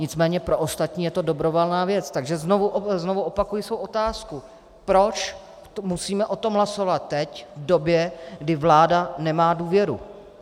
Nicméně pro ostatní je to dobrovolná věc, takže znovu opakuji svou otázku: Proč musíme o tom hlasovat teď, v době, kdy vláda nemá důvěru?